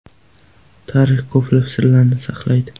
Tarix ko‘plab sirlarni saqlaydi.